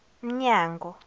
mnyango